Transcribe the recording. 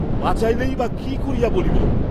বাচাইলেই বা কি করিয়া বলিব?